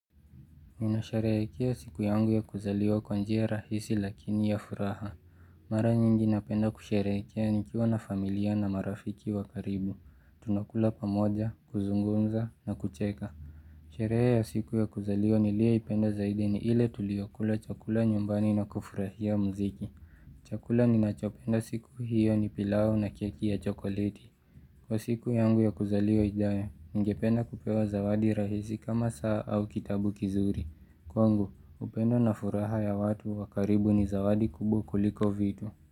Minasherekea siku yangu ya kuzaliwa kwanjia rahisi lakini ya furaha. Mara nyingi napenda kusherekia nikiwa na familia na marafiki wa karibu. Tunakula pamoja, kuzungunza na kucheka. Sharehe ya siku ya kuzaliwa niliyoipenda zaidi ni ile tulio kula chakula nyumbani na kufurahia mziki. Chakula ninachopenda siku hiyo ni pilau na keki ya chokoliti. Kwa siku yangu ya kuzaliwa ijayo, ngepena kupewa zawadi rahisi kama saa au kitabu kizuri. Kwangu, upendo na furaha ya watu wakaribu ni zawadi kubwa kuliko vitu.